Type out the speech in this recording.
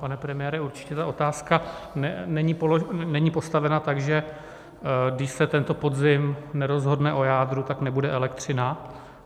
Pane premiére, určitě ta otázka není postavena tak, že když se tento podzim nerozhodne o jádru, tak nebude elektřina.